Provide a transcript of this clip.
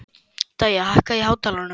Dæja, hækkaðu í hátalaranum.